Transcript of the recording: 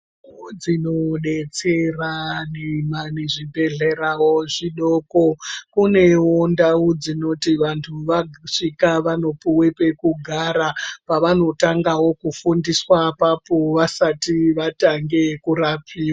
Ndau dzinodetsera nezvibhedhlerawo zvidoko. Kunewo ndau dzinoti vantu vasvika vanopuwe pekugara pavanotangawo kufundiswa apapo vasati vatange kurapiwa.